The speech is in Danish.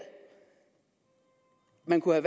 man kunne